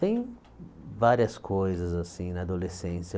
Tem várias coisas assim na adolescência.